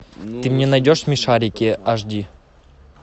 ты мне найдешь смешарики аш ди